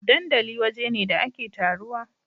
dandali waje ne da ake taruwa